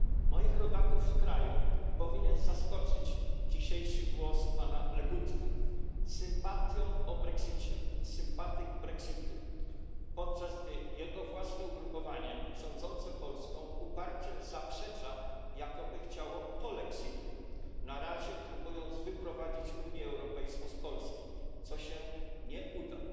Moich rodaków w kraju powinien zaskoczyć dzisiejszy głos pana Legutki, który mówi z sympatią o brexicie, podczas gdy jego własne ugrupowanie rządzące Polską uparcie zaprzecza, jakoby chciało polexitu, a na razie próbuje wyprowadzić Unię Europejską z Polski, co się nie uda.